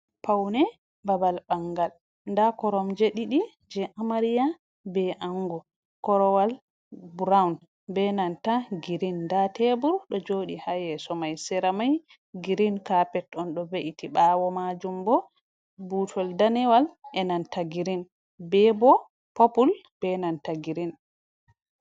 Paune babal bangal da koromje didi je amariya be ango, korowal broun be nanta girin da tebur do jodi ha yeso mai seramai girin capet on do ve’iti ɓawo majum bo butol danewal e nanta girin be bo popul be nanta girin.